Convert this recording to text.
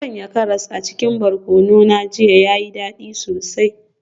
Na sanya karas a cikin barkono na jiya, ya yi dadi sosai.